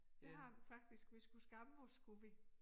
Det har vi faktisk vi skulle skamme os skulle vi